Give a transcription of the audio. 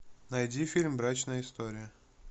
найди фильм брачная история